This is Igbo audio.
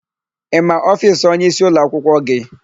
Ị ma ofiisi onyeisi ụlọakwụkwọ gị?